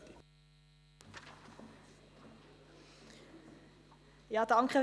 Ich gebe Regierungsrätin Allemann das Wort.